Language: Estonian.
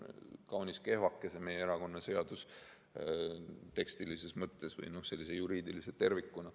Kaunis kehvake on see meie erakonnaseadus tekstilises mõttes või sellise juriidilise tervikuna.